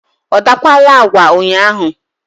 ọ dakwaala agwa ụnyaahụ?